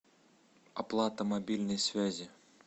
оплата мобильной связи